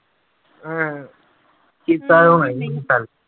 ਹਾਂ ਕੀਤਾ